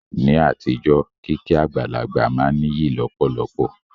Ní àtijọ́, kíkí àgbàlagbà máa n níyì lọ̀pọ̀lọpọ̀